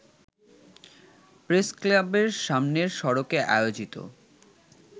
প্রেসক্লাবের সামনের সড়কে আয়োজিত